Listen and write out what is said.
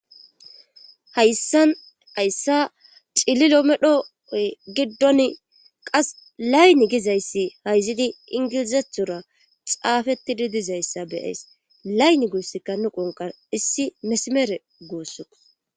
hayssan hayssa cililomedhooy giddon qas layni gizayssi hayzidi ingilizethora xaafetti di dizayssa be'ays laynni guossikka nu qonqar issi mesimere guussukko